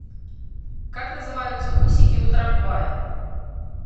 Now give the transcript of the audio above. как называются усики у трамвая